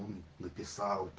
написал